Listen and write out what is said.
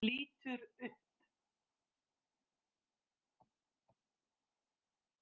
Lítur upp.